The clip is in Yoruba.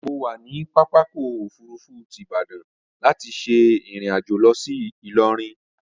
Mo wà ní pápákọ̀ òfurufú ti Ìbadan láti ṣe ìrìnàjò lọ sí Ìlọrin